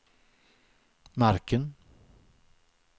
marken